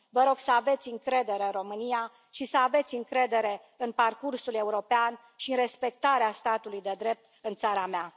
Vă rog să aveți încredere în România și să aveți încredere în parcursul european și în respectarea statului de drept în țara mea.